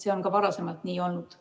See on ka varem nii olnud.